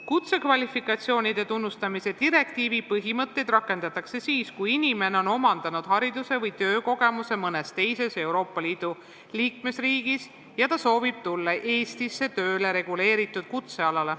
Kutsekvalifikatsioonide tunnustamise direktiivi põhimõtteid rakendatakse siis, kui inimene on omandanud hariduse või töökogemuse mõnes teises Euroopa Liidu liikmesriigis ja ta soovib tulla Eestisse tööle reguleeritud kutsealale.